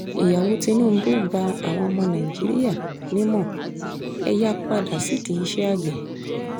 ìyàwó tìnùbù gba àwọn ọmọ nàìjíríà nímọ ẹ yáa padà sídìí iṣẹ́ àgbẹ̀